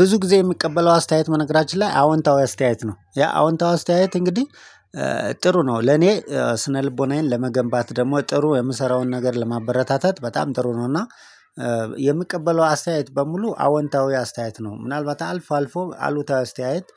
ብዙ ጊዜ የምቀበለው አስተያየት በነገራችን ላይ አዎንታዊ አስተያየት ነው ያ አዎንታዊ አስተያየት እንግዲህ ጥሩ ነው ለኔ ስነልቦናዬን ለመገንባት ደግሞ ጥሩ የምሰራውን ነገር ለማበረታታት በጣም ጥሩ ነው። እና የምቀበለው አስተያየት በሙሉ አወንታዊ አስተያየት ነው። ምናልባት አልፎ አልፎ አሉታዊ አስተያየት